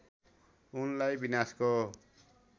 उनलाई विनाशको